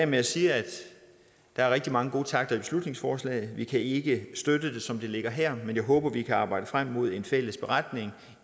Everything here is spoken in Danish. med at sige at der er rigtig mange gode takter i beslutningsforslaget vi kan ikke støtte det som det ligger her men jeg håber at vi kan arbejde frem mod en fælles beretning